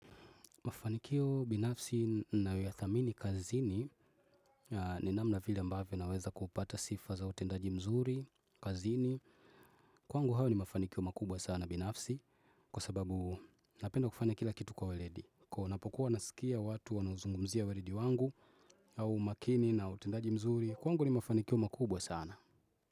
Mafanikio binafsi nayoyathamini kazini ni namna vile ambavyo naweza kupata sifa za utendaji mzuri, kazini. Kwangu hayo ni mafanikio makubwa sana binafsi kwa sababu napenda kufanya kila kitu kwa weledi. Kwa ninapokuwa nasikia watu wanauzungumzia weledi wangu au makini na utendaji mzuri, kwangu ni mafanikio makubwa sana.